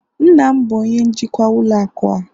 nna m bụ onye njikwa ụlọ akụ a